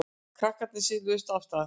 Krakkarnir siluðust af stað.